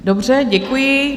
Dobře, děkuji.